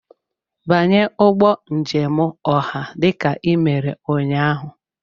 Banye ụgbọ njem ọha dị ka ị mere ụnyaahụ!